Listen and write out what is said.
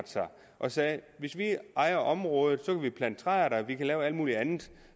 sig og sagde hvis vi ejer området så kan vi plante træer der og vi kan lave alt mulig andet